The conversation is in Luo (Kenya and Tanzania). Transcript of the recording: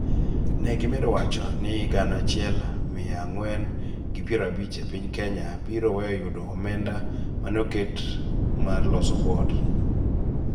Ne gimedo wacho ni Wuod gana achiel mia ang'wen gi piero abich e piny Kenya biro weyo yudo omenda ma ne oket mar loso Wuod.